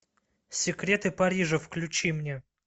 секреты парижа включи мне